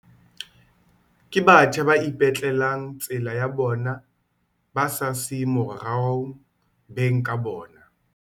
Ke batjha ba ipetlelang tsela ya bona ba sa siye morao beng ka bona.